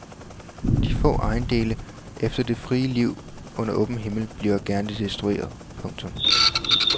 De få ejendele efter det frie liv under åben himmel bliver gerne destrueret. punktum